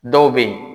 Dɔw bɛ yen